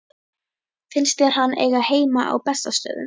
Finnst þér hann eiga heima á Bessastöðum?